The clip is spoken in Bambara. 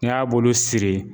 Ni y'a bolo siri